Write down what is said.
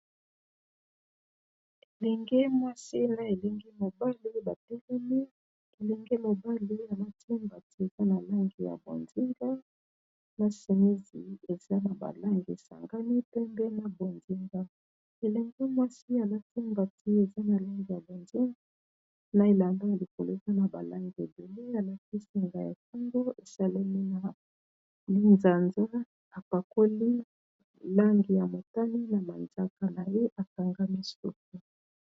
elenge mwasi na elingi mobali batelemi elingi mobali alatimba ti eza na langi ya bonzinga na senisi eza na balange sangani pembe na bonzinga elenge mwasi alatimbati eza na langi ya bonzinga na elanga ya likoleza na balangi ebele alaki singaya kungo esaleli na linzanza apakoli langi ya motani na mandaka na ye akangami suku